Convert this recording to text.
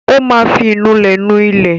Ó máa fi ìnulẹ̀ nu ilẹ̀.